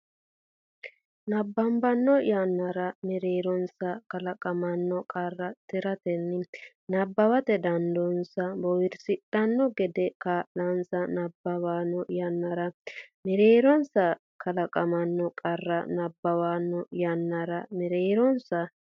nabbabbanno yannara mereeronsa kalaqamanno qarra tiratenni nabbawate dandoonsa boowirsidhanno gede kaa linsa nabbabbanno yannara mereeronsa kalaqamanno qarra nabbabbanno yannara mereeronsa.